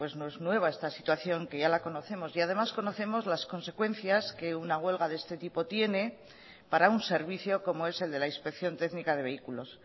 no es nueva esta situación ya la conocemos y además conocemos las consecuencias que una huelga de este tipo tiene para un servicio como es el de la inspección técnica de vehículos